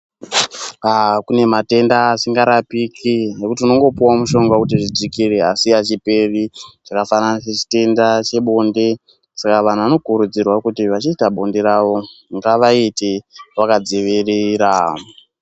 Aah kune matenda asingarapiki nokuti unongopuwa mushonga wekuti zvidzikire asi achiperi. Zvakafanana sechitenda chebonde, saka nantu vanokurudzirwa kuti vachiita bonde ravo ngavaite vakadzivirira.